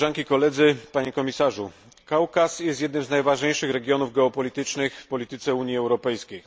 Panie Komisarzu! Kaukaz jest jednym z najważniejszych regionów geopolitycznych w polityce Unii Europejskiej.